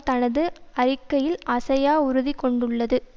தனது அறிக்கையில் அசையா உறுதிகொண்டுள்ளது